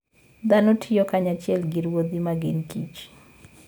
Dhano tiyo kanyachiel gi ruedhi ma gin kich.